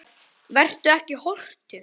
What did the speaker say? Vertu ekki hortug.